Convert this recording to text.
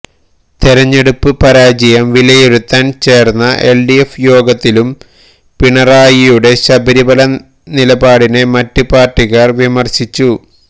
തിരഞ്ഞെടുപ്പ് പരാജയം വിലയിരുത്താന് ചേര്ന്ന എല്ഡിഎഫ് യോഗത്തിലും പിണറായിയുടെ ശബരിമല നിലപാടിനെ മറ്റ് പാര്ട്ടിക്കാര് വിമര്ശിച്ചു